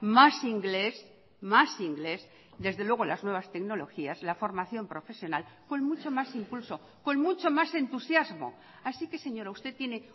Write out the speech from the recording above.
más inglés más inglés desde luego las nuevas tecnologías la formación profesional con mucho más impulso con mucho más entusiasmo así que señora usted tiene